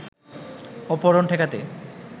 অপহরণ ঠেকাতে